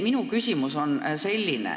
Minu küsimus on niisugune.